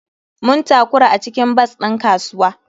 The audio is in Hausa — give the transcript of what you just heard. Mun takura a cikin bas din kasuwa.